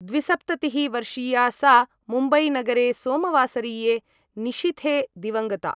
द्विसप्ततिः वर्षीया सा मुम्बैनगरे सोमवासरीये निशीथे दिवङ्गता